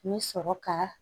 N bɛ sɔrɔ ka